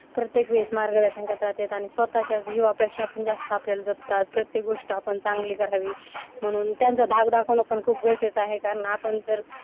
प्रत्येक वेळीस मार्गदर्शन करतात त्यात आणि स्वतःच्या जीवापेक्षा पण जास्त आपल्याला जपतात. प्रत्येक गोष्ट आपण चांगली करावी म्हणून त्यांचा धाक दाखवणं पण खूप येत आहे कारण आपण जर